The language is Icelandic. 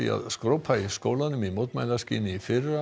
að skrópa í skólanum í mótmælaskyni í fyrra